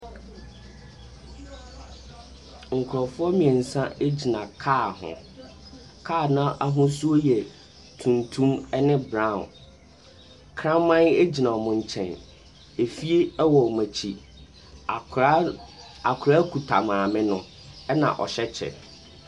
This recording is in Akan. Nkurɔfoɔ mmeɛnsa gyina kaa ho. Ka no ahosuo yɛ tuntum ne brown. Kraman gyina wɔn nkyɛn. Efie wɔ wɔn akyi. Akwadaa akwadaa kita maame na ɔhyɛ kyɛ.